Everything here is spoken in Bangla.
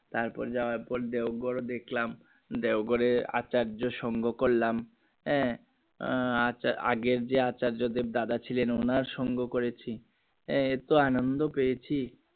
তার পর যাওয়ার পর দেওঘর দেখলাম দেওঘরে আচার্য সঙ্ঘ করলাম হ্যাঁ আছে আগের যে আচার্য্য দেব দাদা ছিলেন উনার সং করেছি এতো আনন্দ পেয়েছি